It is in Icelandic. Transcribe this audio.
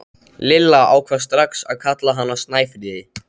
Lilla ákvað strax að kalla hana Snæfríði.